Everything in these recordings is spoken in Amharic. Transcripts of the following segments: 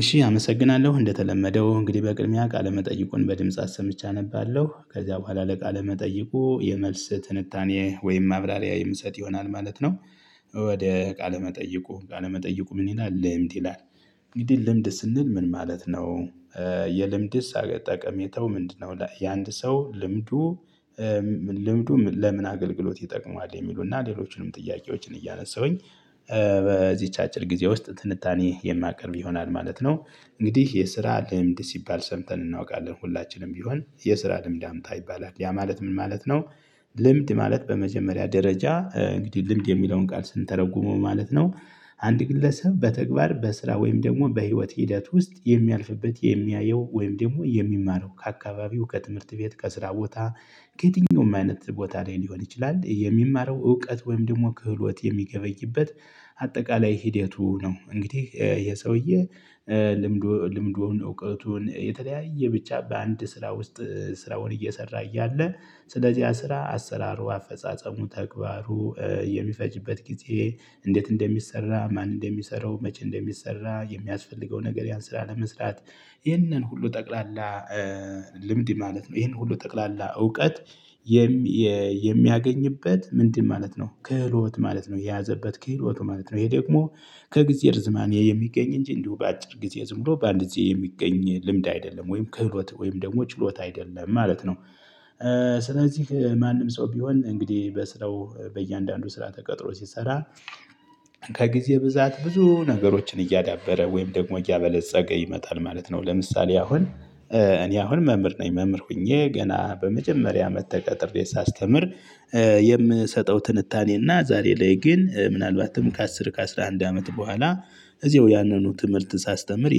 እሺ አመሰግናለሁ እንደተለመደው እንግዲህ በቅድሚያ ቃለመጠይቁን በድምጽ አሰምቼ አነባለሁ ከዛ በኋላ ለቃለመጠይቁ የመልስ ትንታኔ ወይም ማብራሪያ የምሰጥ ይሆናል ማለት ነው። ወደ ቃለመጠይቁ ቃለመጠይቁ ምን ይላል ልምድ ይላል? እንግዲህ ልምድ ስንል ምን ማለት ነው? የልምድስ ጠቀሜታው ምንድነው? የአንድ ሰው ልምዱ። ልምዱ ለምን አገልግሎት ይጠቅመዋል የሚሉና ሌሎችንም ጥያቄዎችን እያነሳሁኝ። በዚች አጭር ጊዜ ውስጥ ትንታኔ የማቀርብ ይሆናል ማለት ነው። እንግዲህ የስራ ልምድ ሲባል ሰምተን እናውቃለን ሁላችንም ቢሆን የስራ ልምድ አምጣ ይባላል ያ ማለት ምን ማለት ነው? ልምድ ማለት በመጀመሪያ ደረጃ እንግዲህ ልምድ የሚለውን ቃል ስንተረጉመው ማለት ነው። አንድ ግለሰብ በተግባር በስራ ወይም ደግሞ በህይወት ሂደት ውስጥ የሚያልፍበት የሚያየው ወይም ደግሞ የሚማረው ከአካባቢው ከትምህርት ቤት ከስራ ቦታ። ከየትኛውም አይነት ቦታ ላይ ሊሆን ይችላል የሚማረው እውቀት ወይም ደግሞ ክህሎት የሚገበይበት። አጠቃላይ ሂደቱ ነው እንግዲህ ይሄ ሰውዬ። ልምዱ ልምዱን እውቀቱን የተለያየ ብቻ በአንድ ስራ ውስጥ ስራውን እየሰራ እያለ ስለዚህ ያ ስራ አሰራሩ አፈጻጸሙ ተግባሩ የሚፈጅበት ጊዜ እንዴት እንደሚሰራ ማን እንደሚሰራው መቼ እንደሚሰራ የሚያስፈልገው ነገር ያን ስራ ለመስራት። ይህንን ሁሉ ጠቅላላ። ልምድ ማለት ነው ይሄን ሁሉ ጠቅላላ እውቀት። የሚያገኝበት ምንድን ማለት ነው? ክህሎት ማለት ነው የያዘበት ከህሎቱ ማለት ነው። ይሄ ደግሞ ከጊዜ ርዝማኔ የሚገኝ እንጂ እንዲሁ በአጭር ጊዜ ዝም ብሎ በአንድ ጊዜ የሚገኝ ልምድ አይደለም ወይም ክህሎት ወይም ደግሞ ችሎታ አይደለም ማለት ነው። ስለዚህ ማንም ሰው ቢሆን እንግዲህ በስራው በእያንዳንዱ ስራ ተቀጥሮ ሲሰራ። ከጊዜ ብዛት ብዙ ነገሮችን እያዳበረ ወይም ደግሞ እያበለጸገ ይመጣል ማለት ነው። ለምሳሌ አሁን እኔ አሁን መምህር ነኝ መምህር ሆኜ ገና በመጀመሪያ አመት ተቀጥሬ ሳስተምር። የምሰጠው ትንታኔና ዛሬ ላይ ግን ምናልባትም ከአስር ከአስራ አንድ አመት በኋላ እዚያው ያንኑ ትምህርት ሳስተምር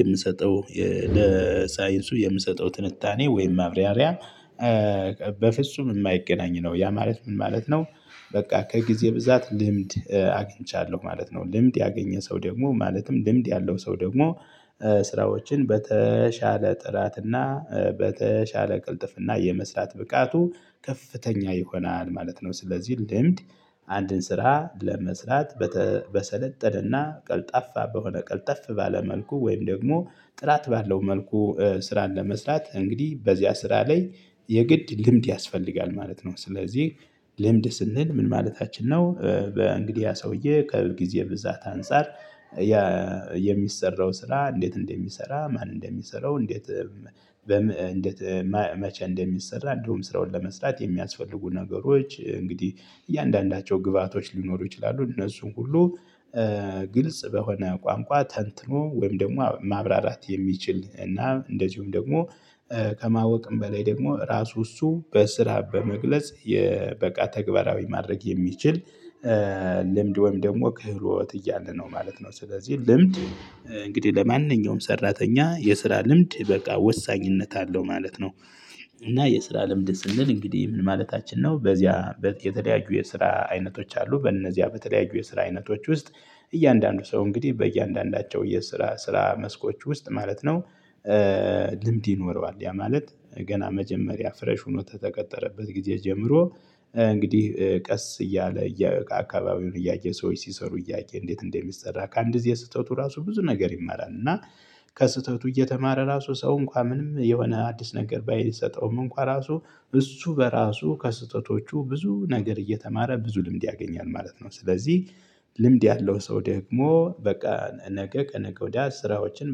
የምሰጠው ለሳይንሱ የምሰጠው ትንታኔ ወይም ማብራሪያ። በፍጹም የማይገናኝ ነው ያ ማለት ምን ማለት ነው? በቃ ከጊዜ ብዛት ልምድ አግኝቻለሁ ማለት ነው። ልምድ ያገኘ ሰው ደግሞ ማለትም ልምድ ያለው ሰው ደግሞ። ስራዎችን በተሻለ ጥራት እና በተሻለ ቅልጥፍና የመስራት ብቃቱ ከፍተኛ ይሆናል ማለት ነው። ስለዚህ ልምድ አንድን ስራ ለመስራት። በሰለጠነና ቀልጣፋ በሆነ ቀልጠፍ ባለ መልኩ ወይም ደግሞ ጥራት ባለው መልኩ ስራን ለመስራት እንግዲህ በዚያ ስራ ላይ የግድ ልምድ ያስፈልጋል ማለት ነው። ስለዚህ ልምድ ስንል ምን ማለታችን ነው? በእንግዲህ ያ ሰውዬ ከጊዜ ብዛት አንፃር። የሚሰራው ስራ እንዴት እንደሚሰራ ማን እንደሚሰራው እንዴት? እንዴት? መቼ እንደሚሰራ እንደውም ስራውን ለመስራት የሚያስፈልጉ ነገሮች እንግዲህ እያንዳንዳቸው ግብአቶች ሊኖሩ ይችላሉ እነሱን ሁሉ። ግልጽ በሆነ ቋንቋ ተንትኖ ወይም ደግሞ ማብራራት የሚችል እና እንደዚሁም ደግሞ። ከማወቅም በላይ ደግሞ ራሱ እሱ በስራ በመግለጽ የበቃ ተግባራዊ ማድረግ የሚችል። ልምድ ወይም ደግሞ ክህሎት እያለን ነው ማለት ነው። ስለዚህ ልምድ እንግዲህ ለማንኛውም ሰራተኛ የስራ ልምድ በቃ ወሳኝነት አለው ማለት ነው። እና የስራ ልምድ ስንል እንግዲህ ምን ማለታችን ነው? በዚያ የተለያዩ የስራ አይነቶች አሉ በእነዚያ በተለያዩ የስራ አይነቶች ውስጥ። እያንዳንዱ ሰው እንግዲህ በእያንዳንዳቸው የስራ ስራ መስኮች ውስጥ ማለት ነው። ልምድ ይኖረዋል ያ ማለት ገና መጀመሪያ ፍሬሽ ሆኖ ከተቀጠረበት ጊዜ ጀምሮ። እንግዲህ ቀስ እያለ አካባቢውን እያየ ሰዎች ሲሰሩ እያየ እንዴት እንደሚሰራ ከአንድ ጊዜ ስተቱ ራሱ ብዙ ነገር ይመራል እና። ከስህተቱ እየተማረ ራሱ ሰው እንኳን ምንም የሆነ አዲስ ነገር ባይሰጠውም እንኳን ራሱ እሱ በራሱ ከስህተቶቹ ብዙ ነገር እየተማረ ብዙ ልምድ ያገኛል ማለት ነው። ስለዚህ። ልምድ ያለው ሰው ደግሞ በቃ ነገ ከነገ ወዲያ ስራዎችን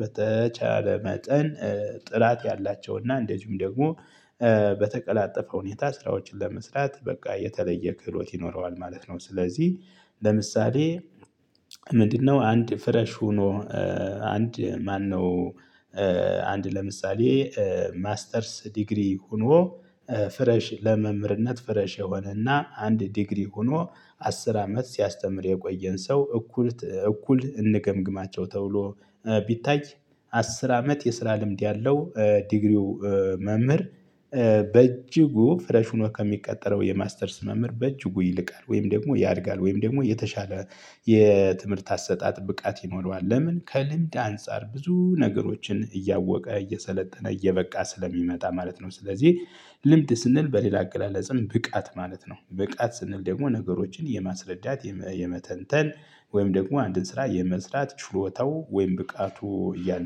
በተቻለ መጠን። ጥራት ያላቸው እና እንደዚሁም ደግሞ። በተቀላጠፈ ሁኔታ ስራዎችን ለመስራት በቃ የተለየ ክህሎት ይኖረዋል ማለት ነው። ስለዚህ ለምሳሌ። ምንድነው? አንድ ፍረሽ ሆኖ። አንድ ማነው? አንድ ለምሳሌ። ማስተርስ ዲግሪ ሆኖ። ፍሬሽ ለመምርነት ፍሬሽ የሆነና አንድ ዲግሪ ሆኖ። አስር አመት ሲያስተምር የቆየን ሰው እኩል እኩል እንገምግማቸው ተብሎ ቢታይ። አስር አመት የስራ ልምድ ያለው ዲግሪው። መምህር። በእጅጉ ፍሬሽ ሆኖ ከሚቀጠረው የማስተርስ መምህር በእጅጉ ይልቃል ወይም ደግሞ ያድጋል ወይም ደግሞ የተሻለ የትምህርት አሰጣጥ ብቃት ይኖረዋል። ለምን? ከልምድ አንፃር ብዙ ነገሮችን እያወቀ እየሰለጠነ እየበቃ ስለሚመጣ ማለት ነው። ስለዚህ ልምድ ስንል በሌላ አገላለጽም ብቃት ማለት ነው። ብቃት ስንል ደግሞ ነገሮችን የማስረዳት የመተንተን። ወይም ደግሞ አንድን ስራ የመስራት ችሎታው ወይም ብቃቱ እያለ